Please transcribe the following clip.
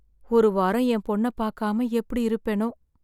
ஒரு வாரம் என் பொண்ணை பார்க்காம எப்படி இருப்பேனோ?